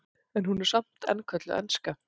en hún er samt enn kölluð enska